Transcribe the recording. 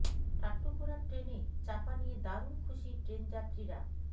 টাট্টু ঘোড়ার ট্রেনে চাপা নিয়ে দারুন খুশি ট্রেন যাত্রীরা